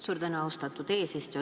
Suur tänu, austatud eesistuja!